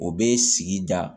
O bɛ sigi da